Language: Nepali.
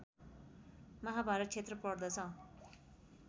महाभारत क्षेत्र पर्दछ